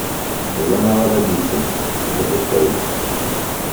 заново родиться запускай